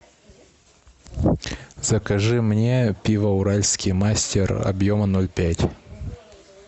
закажи мне пиво уральский мастер объема ноль пять